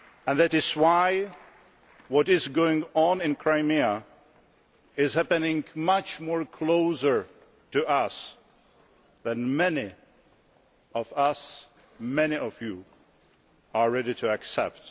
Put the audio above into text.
That is why what is going on in Crimea is happening much closer to us than many of us many of you are ready to accept.